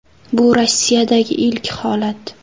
Bu Rossiyadagi ilk holat.